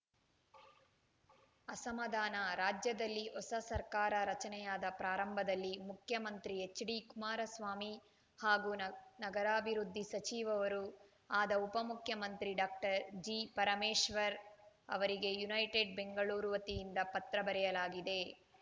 ಅಸಮಾಧಾನ ರಾಜ್ಯದಲ್ಲಿ ಹೊಸ ಸರ್ಕಾರ ರಚನೆಯಾದ ಪ್ರಾರಂಭದಲ್ಲಿ ಮುಖ್ಯಮಂತ್ರಿ ಎಚ್‌ಡಿಕುಮಾರಸ್ವಾಮಿ ಹಾಗು ನಗ್ ನಗರಾಭಿವೃದ್ಧಿ ಸಚಿವವರೂ ಆದ ಉಪ ಮುಖ್ಯಮಂತ್ರಿ ಡಾಕ್ಟರ್ ಜಿಪರಮೇಶ್ವರ್‌ ಅವರಿಗೆ ಯುನೈಟೆಡ್‌ ಬೆಂಗಳೂರು ವತಿಯಿಂದ ಪತ್ರ ಬರೆಯಲಾಗಿದೆ